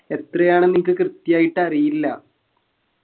എത്രയാണെന്ന് എനിക്ക് കൃത്യായിട്ട് അറിയില്ല